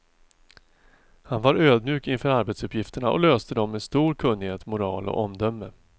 Han var ödmjuk inför arbetsuppgifterna och löste dem med stor kunnighet, moral och omdöme.